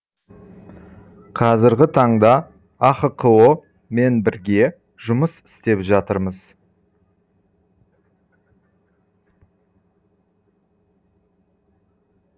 қазіргі таңда ахқо мен бірге жұмыс істеп жатырмыз